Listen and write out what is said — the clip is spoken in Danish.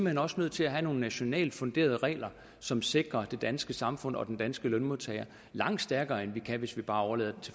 hen også nødt til at have nogle nationalt funderede regler som sikrer det danske samfund og den danske lønmodtager langt stærkere end vi kan hvis vi bare overlader